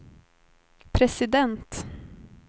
president